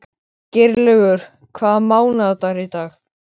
Geirlaugur, hvaða mánaðardagur er í dag?